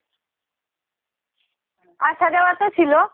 আসা যাওয়া তো ছিলো